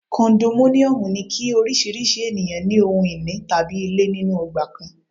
Kondominiomu ni kí oríṣiríṣi ènìyàn ní ohun ìní tàbí ilé nínú ọgbà kan.